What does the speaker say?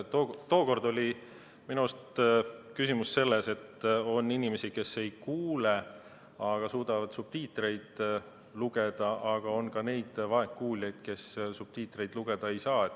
Tookord oli minu arust küsimus selles, et on inimesi, kes ei kuule, aga suudavad subtiitreid lugeda, aga on ka neid vaegkuuljaid, kes subtiitreid lugeda ei saa.